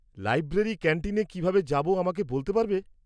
Library ক্যান্টিনে কীভাবে যাব আমাকে বলতে পারবে?